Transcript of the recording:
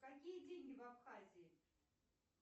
какие деньги в абхазии